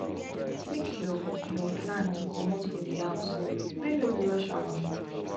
make your your plan to comot for di house when no be rush hour